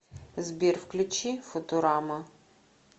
сбер включи футурама